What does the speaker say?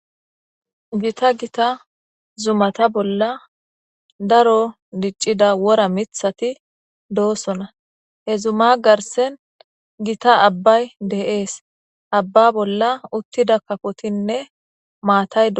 gita gita zumata bolla daro diccida wora mithati doosona he zuma garsen gita abbay deees abba bolla uttida kapotinne maataydoo